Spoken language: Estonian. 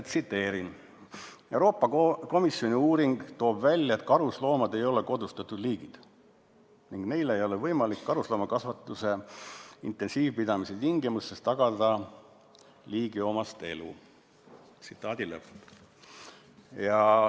Tsiteerin: "Euroopa Komisjoni uuring toob välja, et karusloomad ei ole kodustatud liigid ning neile ei ole võimalik karusloomakasvatuse intensiivpidamise tingimustes tagada ligilähedaseltki liigiomast elu.